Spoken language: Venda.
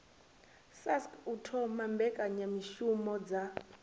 sasc u thoma mbekanyamishumo dza